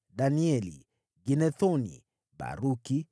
Danieli, Ginethoni, Baruku,